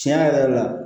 Tiɲɛ yɛrɛ yɛrɛ la